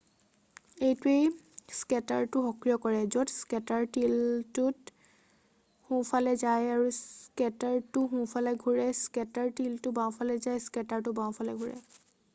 এইটোৱে স্কেটাৰটো সক্ৰিয় কৰে যদি স্কেটাৰ টিলতটো সোঁফালে যায় স্কেটাৰটো সোঁফালে ঘুৰে স্কেটাৰ টিলতটো বাওঁফালে যায় স্কেটাৰটো বাওঁফালে ঘুৰে